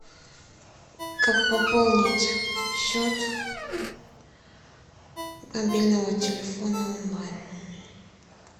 как пополнить счет мобильного телефона онлайн